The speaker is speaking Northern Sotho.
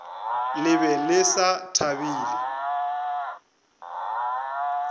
le be le sa thabile